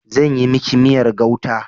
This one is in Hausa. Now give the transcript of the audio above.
Zan yi miki miyar gauta.